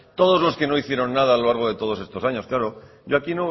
todos los que no hicieron nada a lo largo de todos estos años claro yo aquí